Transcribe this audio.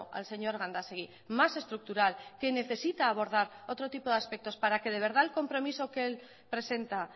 al señor gandásegui más estructural que necesita abordar otro tipo de aspectos para que de verdad el compromiso que él presenta